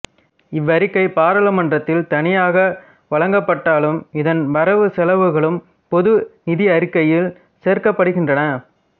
இவ்வறிக்கை பாராளுமன்றத்தில் தனியாக வழஙப் பட்டாலும் இதன் வரவு செலவுகளும் பொது நிதியறிக்கையில் சேர்க்கப் படுகின்றன